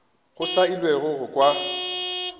go sa elwego go kwa